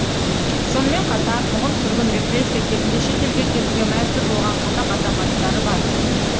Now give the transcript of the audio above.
сонымен қатар қуғын сүргін репрессия кезінде шет елге кетуге мәжбүр болған қазақ азаматтары бар